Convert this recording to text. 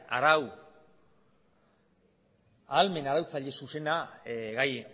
arau ahalmen iraultzaile zuzena gai